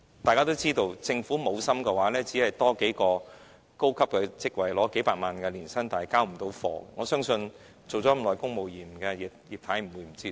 大家應知道，如果政府無心，只是增加數個領取數百萬元年薪的高級職位，始終都無法交貨，我相信當了多年公務員的"葉太"不會不知這道理。